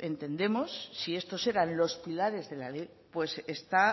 entendemos si estos eran los pilares de la ley pues se está